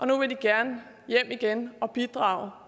nu gerne vil hjem igen og bidrage